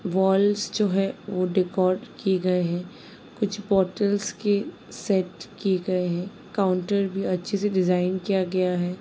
Waals जो हैं वो डेकोर किए गए हैं। कुछ बॉटल्स के सेट किए गए हैं काउंटर भी अच्छे से डिज़ाइन किया गया है।